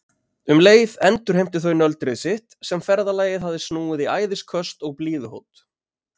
Um leið endurheimtu þau nöldrið sitt sem ferðalagið hafði snúið í æðisköst og blíðuhót.